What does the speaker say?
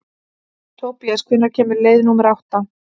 Tobías, hvenær kemur leið númer átta?